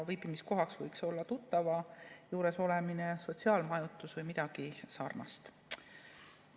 Viibimiskohaks võiks olla tuttava juures olemine, sotsiaalmajutus või midagi sarnast.